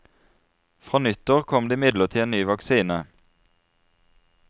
Fra nyttår kom det imidlertid en ny vaksine.